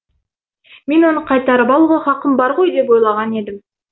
мен оны қайтарып алуға хақым бар ғой деп ойлаған едім